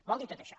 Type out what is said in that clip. vol dir tot això